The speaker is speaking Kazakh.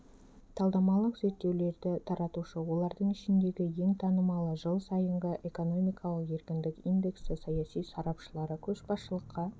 талдамалық зерттеулерді таратушы олардың ішіндегі ең танымалы жыл сайынғы экономикалық еркіндік индексі саяси сарапшылары көшбасшылыққа